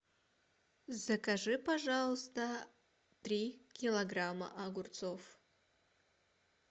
закажи пожалуйста три килограмма огурцов